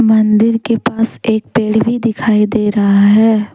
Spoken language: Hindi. मंदिर के पास एक पेड़ भी दिखाई दे रहा है।